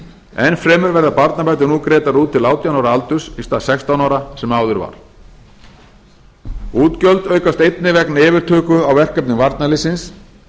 enn fremur verða barnabætur nú greiddar til átján ára aldurs í stað sextán ára sem áður var útgjöld aukast einnig vegna yfirtöku á verkefnum varnarliðsins